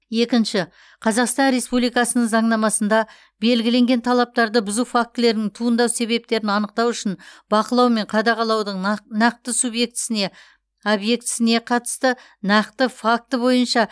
екінші қазақстан республикасының заңнамасында белгіленген талаптарды бұзу фактілерінің туындау себептерін анықтау үшін бақылау мен қадағалаудың нақ нақты субъектісіне объектісіне қатысты нақты факті бойынша